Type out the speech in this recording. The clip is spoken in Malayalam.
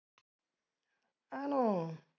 ആണോ?